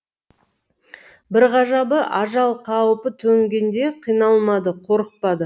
бір ғажабы ажал қаупі төнгенде қиналмады қорықпады